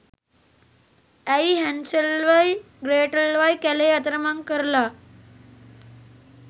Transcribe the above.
ඇයි හැන්සල්වයි ග්‍රේටල්වයි කැලේ අතරමං කරලා